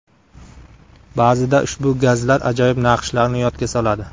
Ba’zida ushbu gazlar ajoyib naqshlarni yodga soladi.